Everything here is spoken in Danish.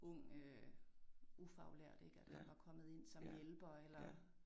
Ung øh ufaglært ik at han var kommet ind som hjælper eller